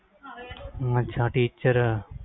ਅੱਛਾ teacher